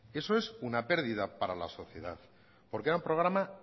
eso es una pérdida para la sociedad porque era un programa